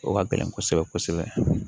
O ka gɛlɛn kosɛbɛ kosɛbɛ